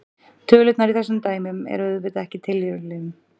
Tölurnar í þessu dæmi eru auðvitað ekki tilviljun.